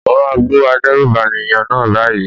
Mo máa bú adérùbànìyàn náà báyìí.